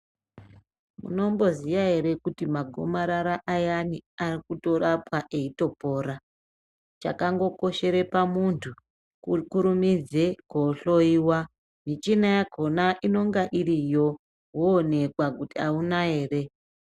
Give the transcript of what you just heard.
Unotoziya ere kuti magomarara ayani arikurapwa eitopora chakangokoshera pamunhu kukurumidza kohloiwa michina yakona inonga iriyo woonekwa kuti auna ere